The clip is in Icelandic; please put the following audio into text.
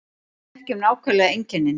Við þekkjum nákvæmlega einkennin